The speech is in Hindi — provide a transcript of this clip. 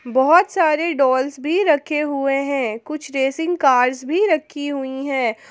बहुत सारे डॉल्स भी रखे हुए हैं कुछ रेसिंग कार्स भी रखी हुई हैं।